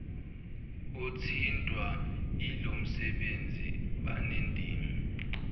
othintwa yilomsebenzi banendima